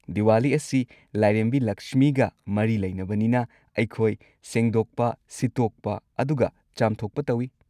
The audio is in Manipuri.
ꯗꯤꯋꯥꯂꯤ ꯑꯁꯤ ꯂꯥꯏꯔꯦꯝꯕꯤ ꯂꯛꯁꯃꯤꯒ ꯃꯔꯤ ꯂꯩꯅꯕꯅꯤꯅ ꯑꯩꯈꯣꯏ ꯁꯦꯡꯗꯣꯛꯄ, ꯁꯤꯠꯇꯣꯛꯄ ꯑꯗꯨꯒ ꯆꯥꯝꯊꯣꯛꯄ ꯇꯧꯏ꯫